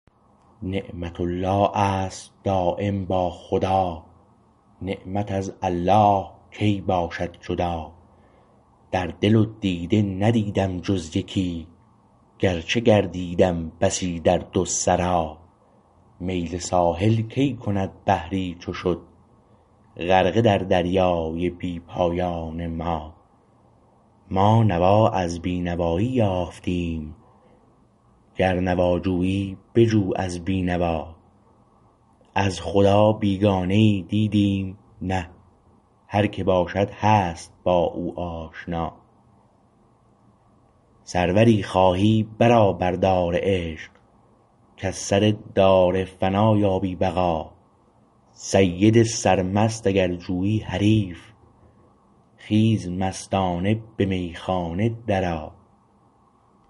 نعمت الله است دایم با خدا نعمت از الله کی باشد جدا در دل و دیده ندیدم جز یکی گرچه گردیدم بسی در دو سرا میل ساحل کی کند بحری چو شد غرقه در دریای بی پایان ما ما نوا از بینوایی یافتیم گر نوا جویی بجو از بینوا از خدا بیگانه ای دیدیم نه هر که باشد هست با او آشنا سروری خواهی برآ بر دار عشق کز سر دار فنا یابی بقا سید سرمست اگر جویی حریف خیز مستانه به میخانه درآ